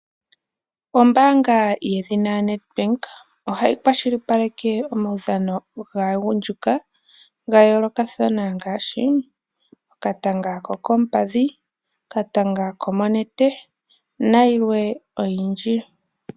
Ombaanga yedhina Nedbank ohayi kwashilipaleke omaudhano gaagundjuka ga yoolokathana ngaashi okatanga kokoompadhi, konete nayilwe oyindji.